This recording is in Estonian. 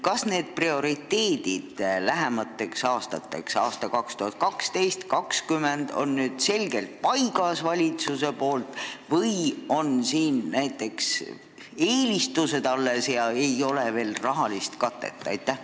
Kas prioriteedid lähemateks aastateks, aastateks 2012–2020 on nüüd valitsusel selgelt paigas või on teada vaid eelistused ja rahakatet veel ei ole?